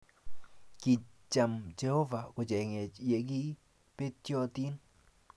Kicham Jehovah kochengech ye kigi betyotin